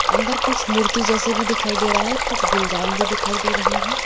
अंदर कुछ मूर्ति जैसे भी दिखाई दे रहा है। कुछ गुलदान भी दिखाई दे रहे हैं।